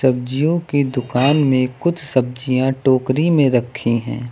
सब्जियों की दुकान में कुछ सब्जियां टोकरी में रखी हैं।